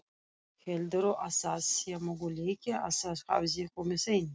Heldurðu að það sé möguleiki að það hefði komið ein